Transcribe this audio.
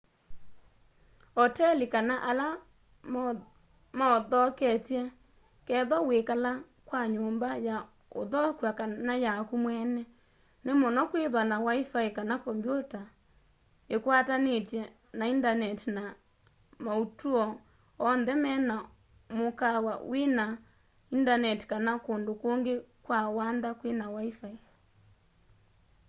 oteli kana ala mauthoketye kethwa wiikala kwa nyumba ya uthokw'a kana yaku mweene ni muno kwithwa na wifi kana kombyuta ikwatanitw'e na indaneti na mautuo oonthe mena mukaawa wina indaneti kana kundu kungi kwa wanda kwina wifi